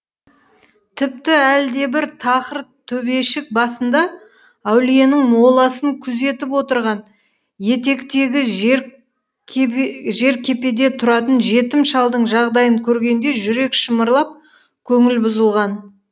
тіпті әлдебір тақыр төбешік басында әулиенің моласын күзетіп отырған етектегі жеркепеде тұратын жетім шалдың жағдайын көргенде жүрек шымырлап көңіл бұзылған